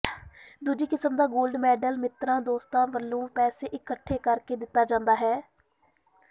ਦੂਜੀ ਕਿਸਮ ਦਾ ਗੋਲਡ ਮੈਡਲ ਮਿੱਤਰਾਂ ਦੋਸਤਾਂ ਵਲੋਂ ਪੈਸੇ ਇਕੱਠੇ ਕਰਕੇ ਦਿੱਤਾ ਜਾਂਦਾ ਹੈ